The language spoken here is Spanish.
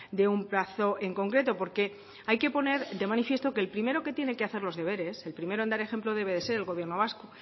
de un plazo en concreto porque hay que poner de manifiesto que el primero que tiene que hacer los deberes el primero en dar ejemplo debe ser el gobierno vasco